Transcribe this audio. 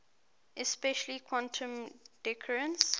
especially quantum decoherence